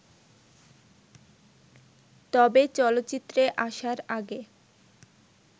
তবে চলচ্চিত্রে আসার আগে